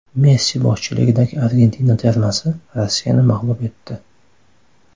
Messi boshchiligidagi Argentina termasi Rossiyani mag‘lub etdi.